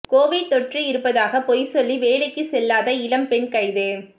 Covid தொற்று இருப்பதாக பொய் சொல்லி வேலைக்கு செல்லாத இளம் பெண் கைது